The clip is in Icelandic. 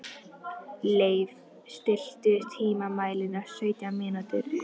Leif, stilltu tímamælinn á sautján mínútur.